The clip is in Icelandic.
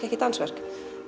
ekki dansverk